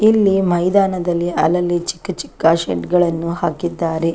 ಇಲ್ಲಿ ಮೈದಾನದಲ್ಲಿ ಅಲ್ಲಲ್ಲಿ ಚಿಕ್ಕ ಚಿಕ್ಕ ಶೆಡ್ ಗಳನ್ನೂ ಹಾಕಿದ್ದಾರೆ.